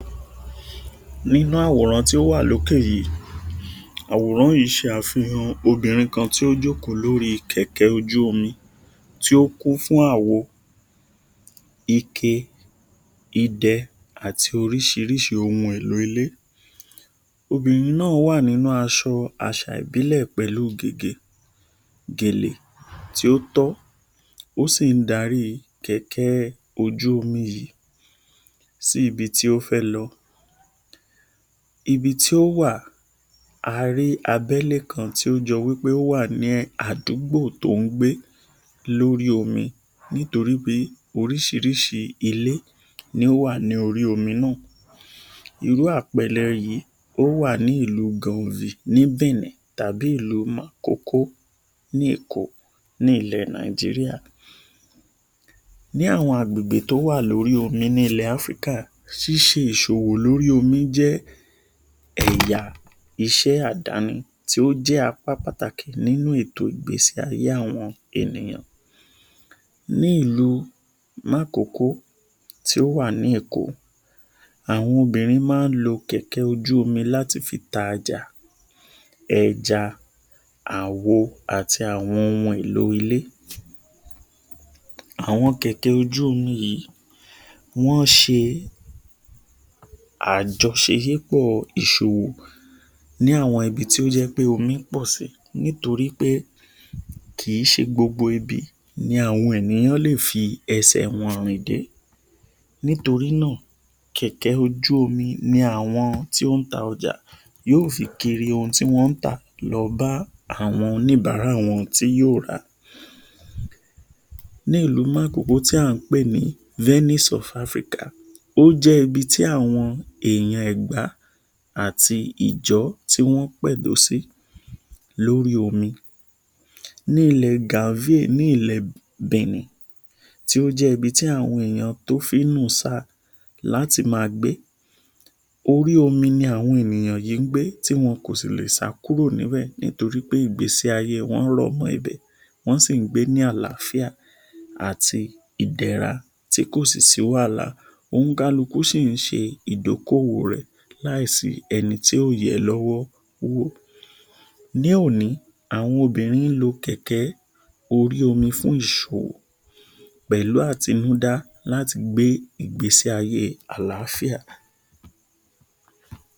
Nínú àwòrán tí ó wà lókè yìí, àwòrán yìí ṣàfìhàn obìnrin kan tí ó jókòó lórí kẹ̀kẹ́ ojú omi tí ó kún fún àwo, ike, idẹ àti oríṣiríṣi ohun èlò ilé. Obìnrin náà wá nínú aṣọ àṣà ìbílẹ̀ pẹ̀lú gègé, gèlè tí ó tọ́, ó sì ń dárí kẹ̀kẹ́ ojú omi yìí síbi tí ó fẹ́ lọ, ibi tí ó wà a rí abẹ́ ilé kan tí ó jọ pé ó wà ní àdúgbò tí ó ń gbé lórí omi nítorí pé oríṣiríṣi ilé ni ó wà lórí omi náà. Irú àpẹẹrẹ yìí, ó wà ní ìlú Gànzì ni Bìíní tàbí ìlú Màkókó ni Ìko nílẹ̀ Nàìjíríà. Ní àwọn àgbègbè tí ó wà lórí ilẹ̀ omi nílẹ̀ Áfríkà ṣíṣí ìṣòwò lórí omi jẹ́ ẹ̀yà ìṣe àdáni tí ó jẹ apá pàtàkì nínú ètò ìgbésí ayé àwọn ènìyàn. Nílùú Mákòkó tí ó wà ní Èkó, àwọn obìnrin máa ń lo kẹ̀kẹ́ ojú omi láti fi ta ọjà, ẹja, àwo àti àwọn ohun èlò ilé. Àwọn kẹ̀kẹ́ ojú omi yìí, wọn ṣe àjọ̀ṣé ípọ̀ ìṣòro ni àwọn ibi tí ó jẹ pé omi pọ̀ sí nítorí pé kì í ṣe gbogbo ibi ni àwọn ènìyàn lè fi ẹ̀sẹ̀ wọn rìn de nítorí náà, kẹ̀kẹ́ ojú omi ni àwọn tí ó ń ta ojà yóò fi kiri ohun tí wọn ń tà lọ bá àwọn oníbàárà wọn tí yóò ra. Nílùú Mákòkó tí a ń pé ní Venice of Africa ó jẹ ibi tí àwọn èèyàn Ẹ̀gbá àti Ìjọ́ tí wọn pẹ̀dọ̀ sí lórí omi, ní ilẹ̀ Gaazé nílẹ̀ Bìíní tí ó jẹ ti àwọn ènìyàn tí ó fi ń nù sá láti máa gbé. Orí omi ni àwọn ènìyàn yìí gbé tí wọn kò sì lé sá kúrò níbẹ̀ nítorí pé ìgbésí ayé wọn rọ̀ mọ ibẹ̀, wọn sí ń gbé ní àlàáfíà àti idẹra tí kò sí wàhálà oníkálukú sì ṣe ìdókówò rẹ láìsí ẹnì tí yóò yẹ lọ́wọ́. Ní òní, àwọn obìnrin ń lo kẹ̀kẹ́ orí omi fún ìṣòwò pẹ̀lú atinúda láti gbé ìgbésí ayé àlàáfíà.